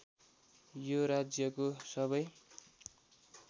यो राज्यको सबै